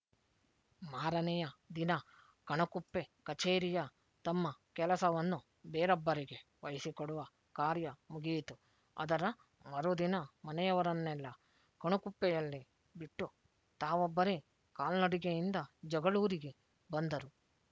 ಮಾರನೆಯ ದಿನ ಕಣಕುಪ್ಪೆ ಕಛೇರಿಯ ತಮ್ಮ ಕೆಲಸವನ್ನು ಬೇರೊಬ್ಬರಿಗೆ ವಹಿಸಿಕೊಡುವ ಕಾರ್ಯ ಮುಗಿಯಿತು ಅದರ ಮರುದಿನ ಮನೆಯವರನ್ನೆಲ್ಲ ಕಣಕುಪ್ಪೆಯಲ್ಲೇ ಬಿಟ್ಟು ತಾವೊಬ್ಬರೆ ಕಾಲ್ನಡಿಗೆಯಿಂದ ಜಗಳೂರಿಗೆ ಬಂದರು